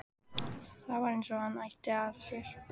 Það var eins og það átti að sér.